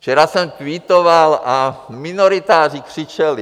Včera jsem tweetoval a minoritáři křičeli.